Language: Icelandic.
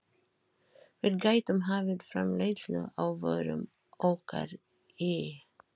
Við gætum hafið framleiðslu á vörum okkar í